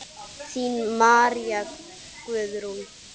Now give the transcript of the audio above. Þín María Guðrún.